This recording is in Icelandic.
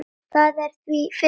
Það er því fyrir hendi.